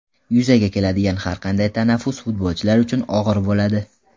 Yuzaga keladigan har qanday tanaffus futbolchilar uchun og‘ir bo‘ladi.